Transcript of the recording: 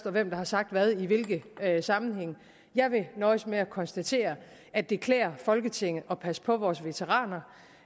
og hvem der har sagt hvad i hvilke sammenhænge jeg vil nøjes med at konstatere at det klæder folketinget at passe på vores veteraner